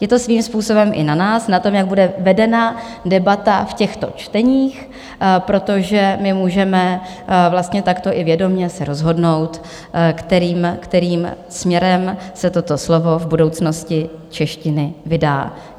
Je to svým způsobem i na nás, na tom, jak bude vedena debata v těchto čteních, protože my můžeme vlastně takto i vědomě se rozhodnout, kterým směrem se toto slovo v budoucnosti češtiny vydá.